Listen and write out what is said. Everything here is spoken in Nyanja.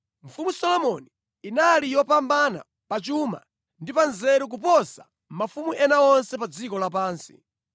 Mfumu Solomoni inali yopambana pa chuma ndi pa nzeru kuposa mafumu ena onse pa dziko lapansi.